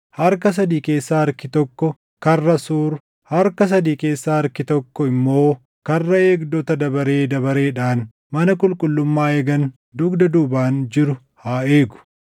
harka sadii keessaa harkii tokko Karra Suur, harka sadii keessaa harkii tokko immoo karra eegdota dabaree dabareedhaan mana qulqullummaa eegan dugda duubaan jiru haa eegu;